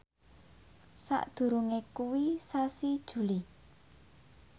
sakdurunge kuwi sasi Juli